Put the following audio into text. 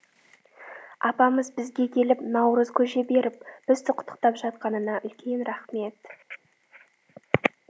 апамыз бізге келіп наурыз көже беріп бізді құттықтап жатқанына үлкен рахмет